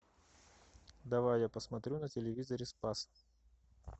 давай я посмотрю на телевизоре спас